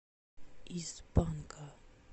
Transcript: из панка